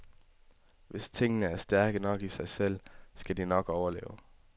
Hvis tingene er stærke nok i sig selv, skal de nok overleve.